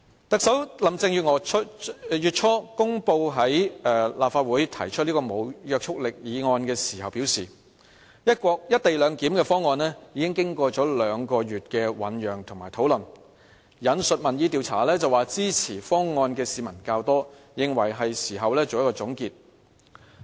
特首林鄭月娥月初公布在立法會提出此項無約束力議案的時候表示，"一地兩檢"的方案已經有兩個月的醞釀及討論，並引述民意調查指，支持方案的市民較多，認為是時候作出總結。